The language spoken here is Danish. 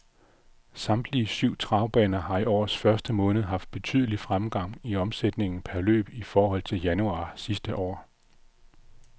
Samtlige syv travbaner har i årets første måned haft betydelig fremgang i omsætningen per løb i forhold til januar sidste år.